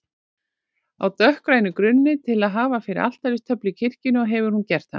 á dökkgrænum grunni til að hafa fyrir altaristöflu í kirkjunni og hefur hún gert hana.